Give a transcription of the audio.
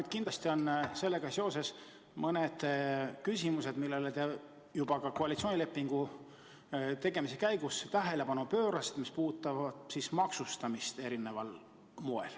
Aga kindlasti on sellega seoses mõned küsimused, millele te juba koalitsioonilepingu tegemise käigus tähelepanu pöörasite, näiteks need, mis puudutavad nii või teisiti maksustamist.